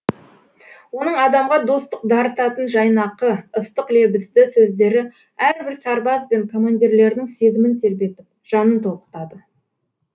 оның адамға достық дарытатын жайнақы ыстық лебізді сөздері әрбір сарбаз бен командирлердің сезімін тербетіп жанын толқытады